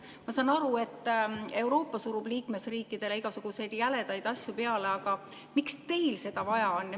Ma saan aru, et Euroopa surub liikmesriikidele igasuguseid jäledaid asju peale, aga miks teil seda vaja on?